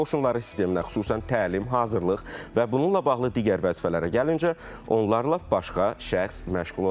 Quru qoşunların sisteminə xüsusən təlim, hazırlıq və bununla bağlı digər vəzifələrə gəlincə, onlarla başqa şəxs məşğul olacaq.